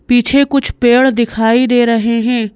पीछे कुछ पेड़ दिखाई दे रहे हैं।